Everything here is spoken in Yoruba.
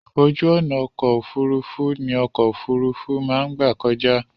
Ojú ọ̀nà ọkọ̀ òfurufú ní ọkọ̀ òfurufú má ń gbà kọjá.